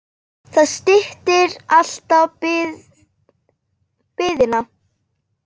Það styttir alltaf biðina.